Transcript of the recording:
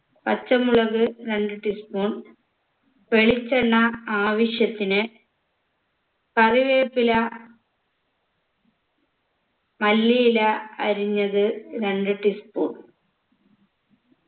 പച്ചമുളക് രണ്ട് tea spoon വെളിച്ചെണ്ണ ആവശ്യത്തിന് കറിവേപ്പില മല്ലിയില അരിഞ്ഞത് രണ്ട് tea spoon